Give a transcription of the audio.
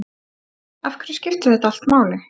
Af hverju skiptir þetta allt máli?